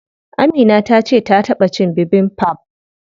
Amina tace ta taɓa cin bibimbap.